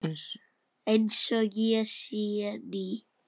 Einsog ég sé ný.